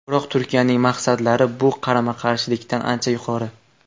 Biroq Turkiyaning maqsadlari bu qarama-qarshiliklardan ancha yuqori.